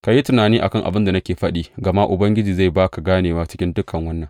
Ka yi tunani a kan abin da nake faɗi, gama Ubangiji zai ba ka ganewa cikin dukan wannan.